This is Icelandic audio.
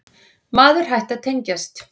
Maður hætti að tengjast.